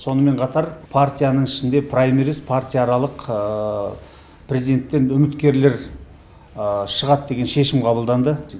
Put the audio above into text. сонымен қатар партияның ішінде праймирис партия аралық президентікке үміткерлер шығады деген шешім қабылданды